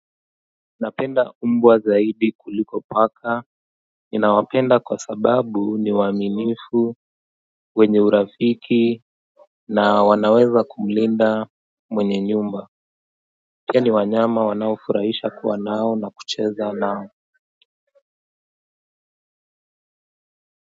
Napenda umbwa zaidi kuliko paka ninawapenda kwa sababu ni waaminifu wenye urafiki na wanaweza kumlinda mwenye nyumba pia ni wanyama wanaofurahisha kuwa nao na kucheza nao.